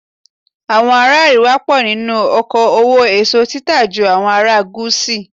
Àwọn ará àríwá pọ̀ nínú oko òwò èso títà ju àwọn ará gúúsù.